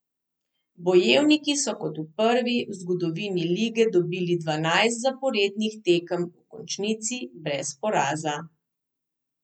Bojevniki so kot prvi v zgodovini lige dobili dvanajst zaporednih tekem v končnici brez poraza.